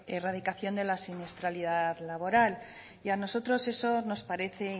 erradicación de la siniestralidad laboral y a nosotros eso nos parece